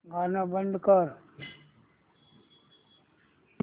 गाणं बंद कर